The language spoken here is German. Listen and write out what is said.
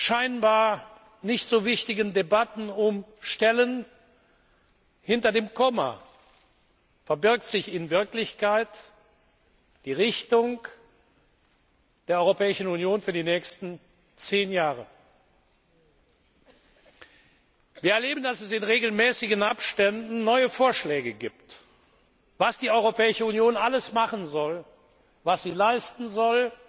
den scheinbar nicht so wichtigen Debatten um Stellen hinter dem Komma verbirgt sich in Wirklichkeit die Richtung der Europäischen Union für die nächsten zehn Jahre. Wir erleben, dass es in regelmäßigen Abständen neue Vorschläge gibt, was die Europäische Union alles machen soll, was sie leisten